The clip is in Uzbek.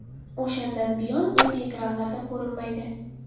O‘shandan buyon u ekranlarda ko‘rinmaydi.